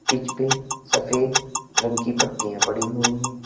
Pitch पे सफेद रंग की पट्टियां पड़ी हुई है।